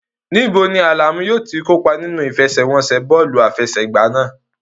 Níbo ni Alamu yóò ti kópa nínú ìfẹsẹ̀wọnsẹ̀ bọ́ọ̀lù àfẹsẹ̀gbá náà?